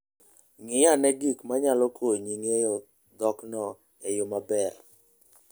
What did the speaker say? Ng'i ane gik manyalo konyi ng'eyo dhokno e yo maber.